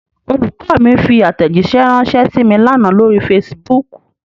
Olùkọ́ mi fi àtẹ̀jíṣẹ̀ ránṣẹ́ sí mí l'ánà lórí Facebook.